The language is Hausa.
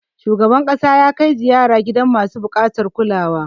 Shugaban ƙasa ya kai ziyara gidan masu buƙatar kulawa.